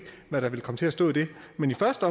hvad der vil komme til at stå i det men i første